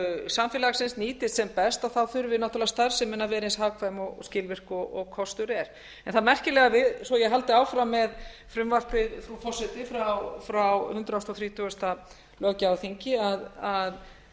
samfélagsins nýtist sem best og þá þurfi náttúrlega starfsemin að vera eins hagkvæm og skilvirk og kostur er það merkilega við svo ég haldi áfram með frumvarpið frá hundrað þrjátíu löggjafarþingi að